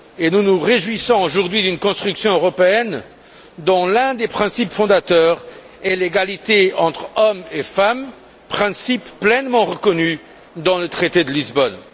Nous nous réjouissons aujourd'hui d'une construction européenne dont l'un des principes fondateurs est l'égalité entre hommes et femmes, principe pleinement reconnu dans le traité de Lisbonne.